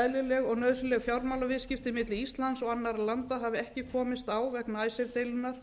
eðlileg og nauðsynleg fjármálaviðskipti milli íslands og annarra landa hafa ekki komist á vegna icesave deilunnar